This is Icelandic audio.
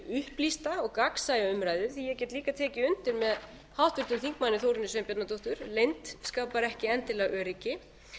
upplýsta og gagnsæja umræðu því að ég get líka tekið undir með háttvirtum þingmanni þórunni sveinbjarnardóttur að leynd skapar ekki endilega öryggi